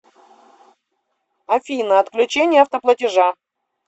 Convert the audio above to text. афина отключение автоплатежа